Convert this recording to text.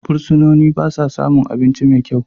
Fursunoni ba sa samun abinci mai kyau.